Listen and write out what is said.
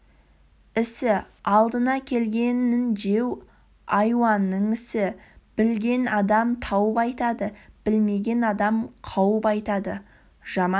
ісі алдына келгенін жеу айуанның ісі білген адам тауып айтады білмеген адам қауып айтады жаман